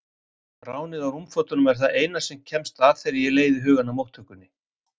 Ránið á rúmfötunum er það eina sem kemst að þegar ég leiði hugann að móttökunni.